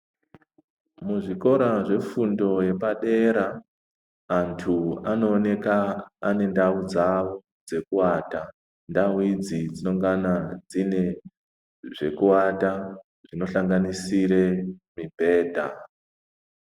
Muzvikora zvefundo yepadera antu anooneka mundau dzawo dzekuwata ndau idzi dzinongana dzine zvekuwata zvinohlanganisire mibhedha.